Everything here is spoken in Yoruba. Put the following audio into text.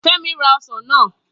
Femi ra osan naa.